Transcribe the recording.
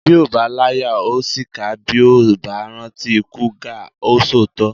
Bí ó bá láyà ó ṣìkà bí ó bá rántí ikú gáà o sòótọ́